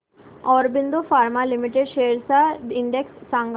Aurobindo pharma limited shares चा index सांगा